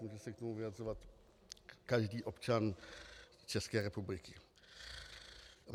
Může se k tomu vyjadřovat každý občan České republiky.